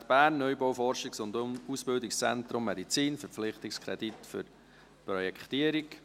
«Universität Bern, Neubau Forschungs- und Ausbildungszentrum Medizin, Verpflichtungskredit für die Projektierung».